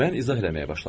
mən izah eləməyə başladım.